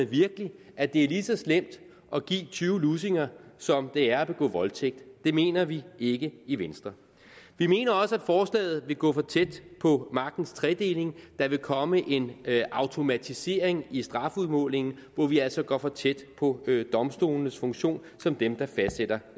virkelig at det er lige så slemt at give tyve lussinger som det er at begå voldtægt det mener vi ikke i venstre vi mener også at forslaget vil gå for tæt på magtens tredeling der vil komme en automatisering i strafudmålingen hvor vi altså går for tæt på domstolenes funktion som dem der fastsætter